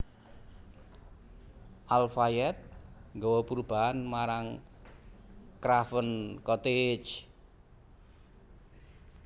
Al Fayed nggawa perubahan marang Craven Cottage